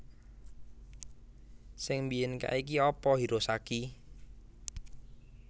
Sing mbiyen kae ki apa Hirosaki?